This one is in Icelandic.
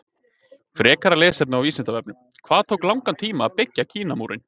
Frekara lesefni á Vísindavefnum: Hvað tók langan tíma að byggja Kínamúrinn?